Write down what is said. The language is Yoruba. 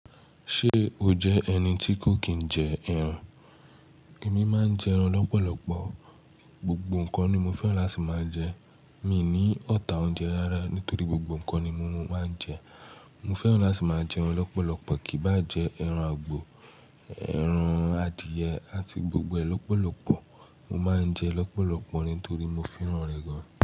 Ṣé o jẹ́ ẹni tí kò kì n jẹ ẹran? Èmi máa ń jẹ ẹran lọ́pọ̀lọpọ̀. Gbogbo nǹkan ni mo fẹ́ràn láti máa jẹ. Mi i ní ọ̀tá oúnjẹ rárá nítorí gbogbo nǹkan ni mo máa ń jẹ. Mo fẹ́ràn láti máa jẹun lọ́pọ̀lọpọ̀, kí í bá jẹ ẹran àgbò, ẹran adìyẹ àti gbogbo ẹ lọ́pọ̀lọpọ̀. Mo máa ń jẹ lọ́pọ̀lọpọ̀ nítorí mo fẹ́ràn rẹ̀ gan-an.